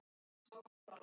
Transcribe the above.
ar að sveitunum í kring.